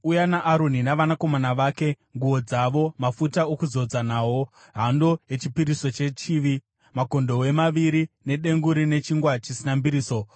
“Uya naAroni navanakomana vake, nguo dzavo, mafuta okuzodza nawo, hando yechipiriso chechivi, makondobwe maviri nedengu rine chingwa chisina mbiriso,